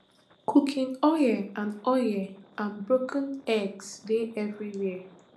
cooking oil and oil and broken eggs dey everywia